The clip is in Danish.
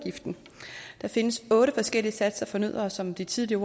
der findes otte forskellige satser for nødder og som de tidligere